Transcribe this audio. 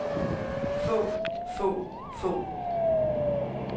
få få få